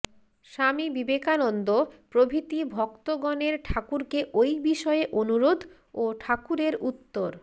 স্বামী বিবেকানন্দ প্রভৃতি ভক্তগণের ঠাকুরকে ঐ বিষয়ে অনুরোধ ও ঠাকুরের উত্তর